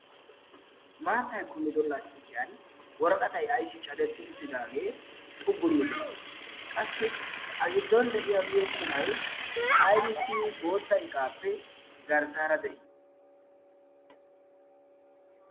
maattay kummido lasttiqiyan woraqatai aysi cadetti uttidaagee xuggunni de'i qassi a giddon de'iya miyo qumai ibisi bootta iqaappe garssaara de'ii?